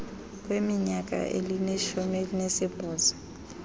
kweminyaka elishumi elinesibhozo